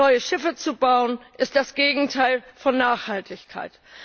Neue Schiffe zu bauen, ist das Gegenteil von Nachhaltigkeit.